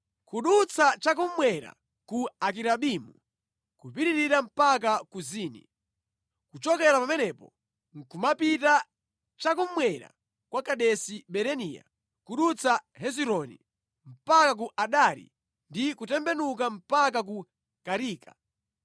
kudutsa cha kummwera ku Akirabimu, nʼkupitirira mpaka ku Zini. Kuchokera pamenepo nʼkumapita cha kummwera kwa Kadesi Barinea, kudutsa Hezironi mpaka ku Adari ndi kutembenuka mpaka ku Karika.